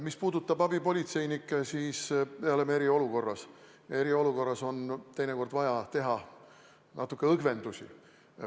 Mis puudutab abipolitseinikke, siis me oleme eriolukorras ja eriolukorras on teinekord vaja teha natuke õgvendusi.